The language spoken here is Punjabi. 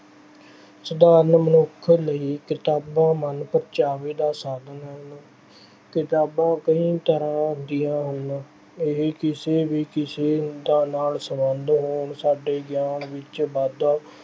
ਸਾਧਾਰਨ ਮਨੁੱਖ ਲਈ ਕਿਤਾਬਾਂ ਮਨਪਰਚਾਵੇ ਦਾ ਸਾਧਨ ਹਨ। ਕਿਤਾਬਾਂ ਕਈ ਤਰ੍ਹਾਂ ਦੀਆਂ ਹੁੰਦੀਆਂ ਹਨ, ਇਹ ਕਿਸੇ ਵੀ ਕਿਸੇ ਦਾ ਨਾਲ ਸਬੰਧ ਹੋਣ, ਸਾਡੇ ਗਿਆਨ ਵਿੱਚ ਵਾਧਾ